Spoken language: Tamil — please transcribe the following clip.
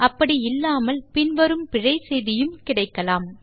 அப்படி இல்லாமல் பின் வரும் பிழை செய்தியும் கிடைக்கலாம்